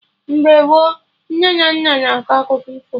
Mgbe gboo, nne na nna na akọ akụkọ ifo